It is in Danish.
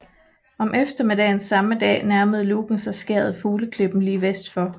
Om eftermiddagen samme dag nærmede Lougen sig skæret Fugleklippen lige vest for Skt